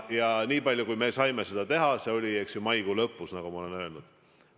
Ja nii palju, kui me saime seda teha, oli maikuu lõpus, nagu ma olen öelnud.